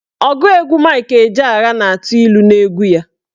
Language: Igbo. Ọgụ egwu Mike Ejeagha na-atụ ilu n'egwu ya.